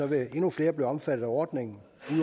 vil endnu flere blive omfattet af ordningen